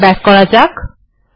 আবার ব্যাক করা যাক